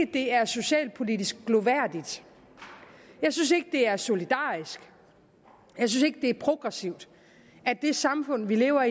det er socialpolitisk glorværdigt jeg synes ikke det er solidarisk jeg synes ikke det er progressivt at det samfund vi lever